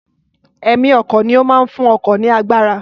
Ẹ̀mí ọkọ̀ ni ó máa ń fún ọkọ̀ ní agbára